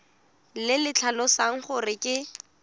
le le tlhalosang gore ke